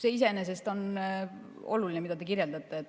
See iseenesest on oluline, mida te kirjeldate.